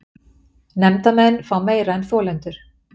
Nefndarmenn fá meira en þolendur